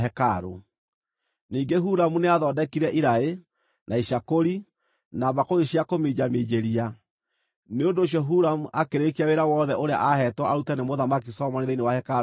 Ningĩ Huramu nĩathondekire iraĩ, na icakũri, na mbakũri cia kũminjaminjĩria. Nĩ ũndũ ũcio Huramu akĩrĩkia wĩra wothe ũrĩa aaheetwo arute nĩ Mũthamaki Solomoni thĩinĩ wa hekarũ ya Jehova: